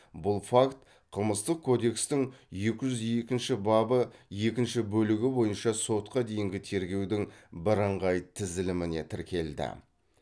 бұл факт қылмыстық кодекстің екі жүз екінші бабы екінші бөлігі бойынша сотқа дейінгі тергеудің бірыңғай тізіліміне тіркелді